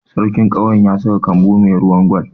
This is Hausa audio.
Sarkin ƙauyen ya saka kambu mai ruwan Gwal.